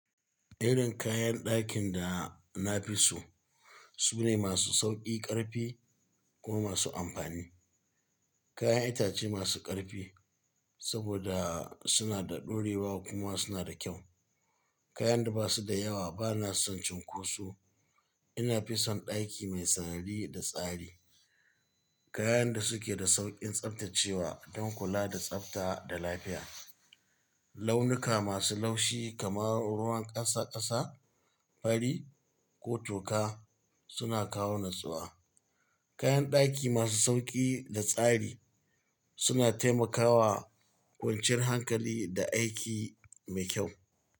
Irin kayan dakin da na fi so, su ne masu sauƙi ƙarfi, kuma masu amfani. Kayan itace masu ƙarfi, saboda suna da ɗorewa, kuma suna da kyau. Kayan da ba su da yawa, ba na son cunkoso. Ina fi son daki mai sarari da tsari. Kayan da suke da sauƙin tsaftacewa, don kula da tsafta da lafiya. Launuka masu laushi kamar ruwan ƙasa ƙasa, fari, ko toka suna kawo natsuwa. Kayan daki masu sauƙi da tsari, suna taimakawa kwanciyar hankali, da aiki mai kyau.